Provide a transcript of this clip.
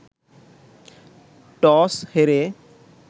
toss হেরে